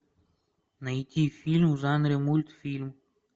найти фильм в жанре мультфильм